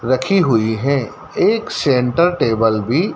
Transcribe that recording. रखी हुई है एक सेंटर टेबल भी।